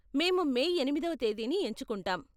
మేము మే ఎనిమిదో తేదీని ఎంచుకుంటాం.